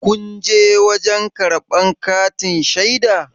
kunje wajen karbar katin shaida?